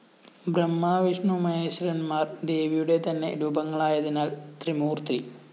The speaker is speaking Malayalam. ബ്രഹ്മാവിഷ്ണുമഹേശ്വരന്മാര്‍ ദേവിയുടെ തന്നെ രൂപങ്ങളായതിനാല്‍ ത്രിമൂര്‍ത്തി